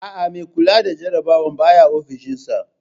Aa, mai kula da jarabawar baya ofishin sa